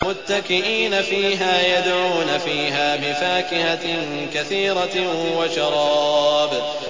مُتَّكِئِينَ فِيهَا يَدْعُونَ فِيهَا بِفَاكِهَةٍ كَثِيرَةٍ وَشَرَابٍ